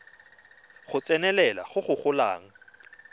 go tsenelela go go golang